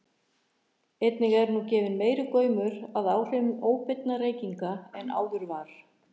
einnig er nú gefinn meiri gaumur að áhrifum óbeinna reykinga en áður var